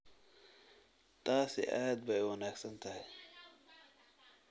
Taasi aad bay u wanaagsan tahay